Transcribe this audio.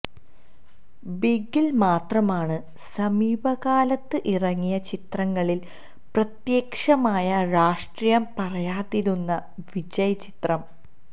ബിഗിൽ മാത്രമാണ് സമീപ കാലത്ത് ഇറങ്ങിയ ചിത്രങ്ങളിൽ പ്രത്യക്ഷമായ രാഷ്ട്രീയം പറയാതിരുന്ന വിജയ് ചിത്രം